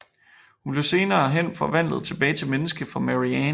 Hun bliver senere hen forvandlet tilbage til menneske for Mary Ann